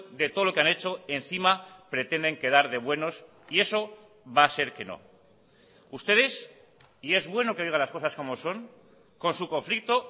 de todo lo que han hecho encima pretenden quedar de buenos y eso va a ser que no ustedes y es bueno que diga las cosas como son con su conflicto